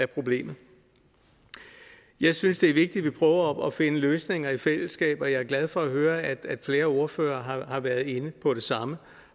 problemet jeg synes det er vigtigt at vi prøver at finde løsninger i fællesskab og jeg er glad for at høre at flere ordførere har været inde på det samme